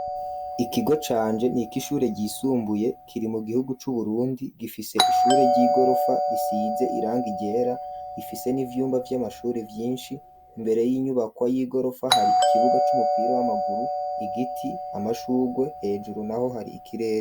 Ikigo canje nikigo cishure ryisumbuye kiri mu gihugu cu Burundi. Gifise ishure ry'igorofa risize irangi ryera rifise n'ivyumba vy'amashuri vyinshi imbere y'inyubakwa y'igorofa hari ikibuga c'umupira w'amaguru igiti amashurwe hejuru naho hari ikirere.